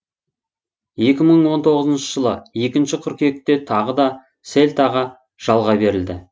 екі мың он тоғызыншы жылы екінші қыркүйекте тағы да сельтаға жалға берілді